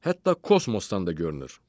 Hətta kosmosdan da görünür.